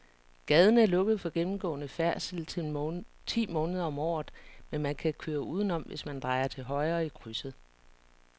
Gaden er lukket for gennemgående færdsel ti måneder om året, men man kan køre udenom, hvis man drejer til højre i krydset.